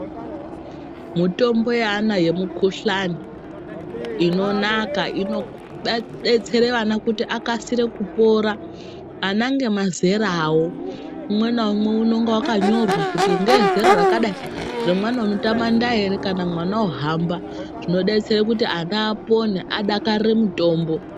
Mutombo yaana yemukhuhlani inonaka inoku ba detsere ana kuti akase kupora ana ngemazera awo Umwe naumwe unenge waknyorwa kuti ngewezera rakadai remwena unotamanda ere kana mwana wohamba zvinodetsere kuti ana apone adakarire mutombo.